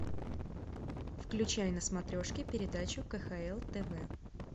включай на смотрешке передачу кхл тв